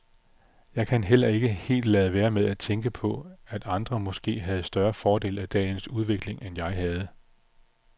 Jeg kan heller ikke helt lade være med at tænke på, at andre måske havde større fordel af dagens udvikling, end jeg havde.